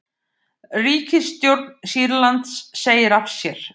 Ríkisstjórn Sýrlands segir af sér